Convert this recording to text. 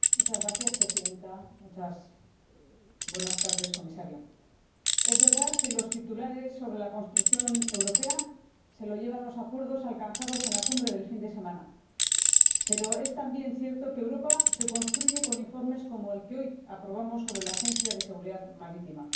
Señora Presidenta, señor Comisario, es verdad que los titulares sobre la construcción europea se los llevan los acuerdos alcanzados en la cumbre del fin de semana. Pero es también cierto que Europa se construye con informes como el que hoy aprobamos sobre la Agencia Europea de Seguridad Marítima.